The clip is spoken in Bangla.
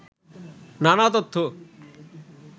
নানা তথ্য